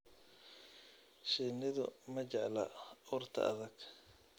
Shinnidu ma jecla urta adag.